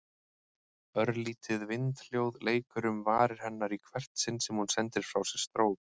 Örlítið vindhljóð leikur um varir hennar í hvert sinn sem hún sendir frá sér strók.